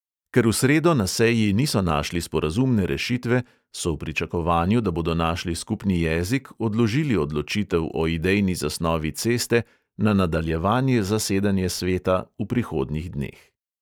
Ker v sredo na seji niso našli sporazumne rešitve, so v pričakovanju, da bodo našli skupni jezik, odložili odločitev o idejni zasnovi ceste na nadaljevanje zasedanja sveta v prihodnjih dneh.